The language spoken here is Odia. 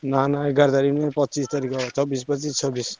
ନା ନା ଏଗାର ତାରିଖ ନୁହଁ ପଚିଶ ତାରିଖ ହବ ଚବିଶ, ପଚିଶ, ଛବିଶ।